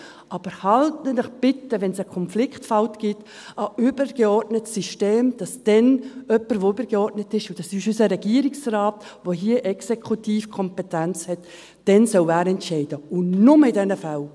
Aber halten Sie sich bitte, wenn es einen Konfliktfall gibt, an das übergeordnete System, damit dann jemand, der übergeordnet ist – und das ist unser Regierungsrat, der hier Exekutivkompetenz hat –, entscheiden soll, und nur in diesen Fällen.